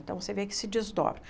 Então, você vê que se desdobra.